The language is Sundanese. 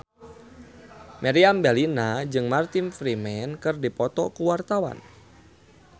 Meriam Bellina jeung Martin Freeman keur dipoto ku wartawan